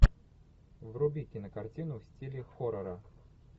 вруби кинокартину в стиле хоррора